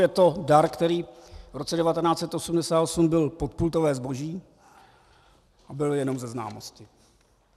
Je to dar, který v roce 1988 byl podpultové zboží a byl jenom ze známosti.